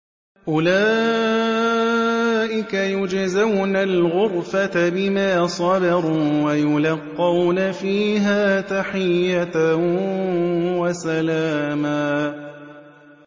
أُولَٰئِكَ يُجْزَوْنَ الْغُرْفَةَ بِمَا صَبَرُوا وَيُلَقَّوْنَ فِيهَا تَحِيَّةً وَسَلَامًا